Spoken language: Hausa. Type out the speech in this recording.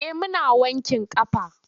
Eh muna wankin ƙafa.